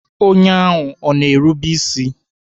Onye ahụ ọ na-erube isi?